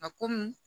Ka komi